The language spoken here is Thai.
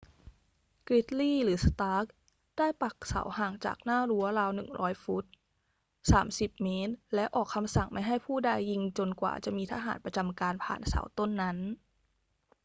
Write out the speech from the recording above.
กริดลีย์ หรือ สตาร์ก ได้ปักเสาห่างจากหน้ารั้วราว 100 ฟุต 30 ม. และออกคำสั่งไม่ให้ผู้ใดยิงจนกว่าจะมีทหารประจำการผ่านเสาต้นนั้น